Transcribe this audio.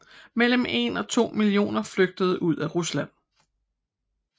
Mellem 1 og 2 millioner flygtede ud af Rusland